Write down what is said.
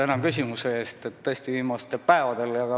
Tänan küsimuse eest!